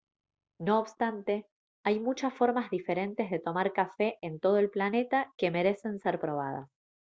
no obstante hay muchas formas diferentes de tomar café en todo el planeta que merecen ser probadas